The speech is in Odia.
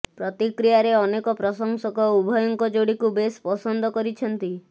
ପ୍ରତିକ୍ରିୟାରେ ଅନେକ ପ୍ରଶଂସକ ଉଭୟଙ୍କ ଯୋଡ଼ିକୁ ବେଶ୍ ପସନ୍ଦ କରିଛନ୍ତି